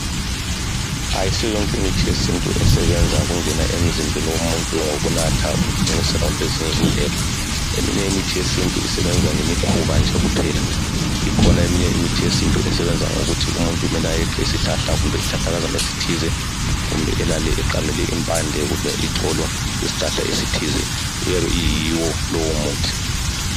Ayisiyo yonke imithi yesintu esebenza ngokungena emzimbeni womuntu ngokunatha, ukuthunqisela, kumbe ezinye indlela Eminye imithi yesintu isebenza ngemikhuba nje kuphela. lkhona eminye imithi yesintu ethi umuntu kumele eqe isihlahla, kumbe isihlahlakazana esithize, kumbe alale eqamele ixolo. Kuyabe kuyiwo lowomuthi.